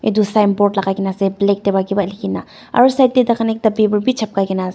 edu signboard lakai kae na ase black tae pa kipa likhina aro side tae takan paper bi chapkai kaenaase.